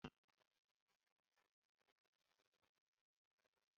Aga m eje ugbo bụ sọ mechinu na arụ na ya